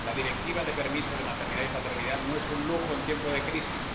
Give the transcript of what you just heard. La Directiva sobre el permiso de maternidad y paternidad no es un lujo en tiempo de crisis.